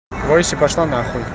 бойся пошла на хуй